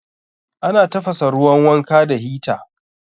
Ana tafasa ruwan wanka da hita